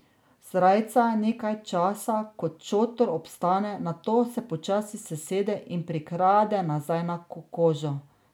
Srajca nekaj časa kot šotor obstane, nato se počasi sesede in prikrade nazaj na kožo.